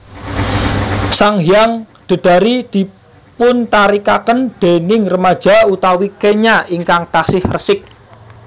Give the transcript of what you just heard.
Sanghyang Dedari dipuntarikaken déning remaja utawi kenya ingkang taksih resik